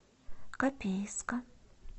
копейска